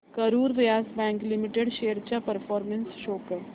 Karur Vysya Bank Limited shares चा performance show कर